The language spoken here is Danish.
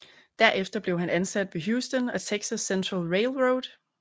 Derefter blev han ansat ved Houston and Texas Central Railroad